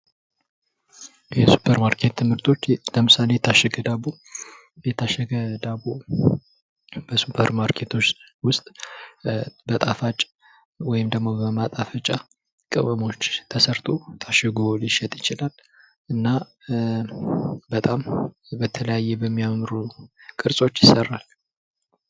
የሱፐር ማርኬት መርትች ለምሳሌ የታሸገ ዳቦ ሱፐርማርኬት ውስጥ በማጣፈጫ ቅመሞች ተሰርቶ ሊሸጥ ይችላል እና በተለያዩ የሚያምሩ ቅርፆች ይሰራል።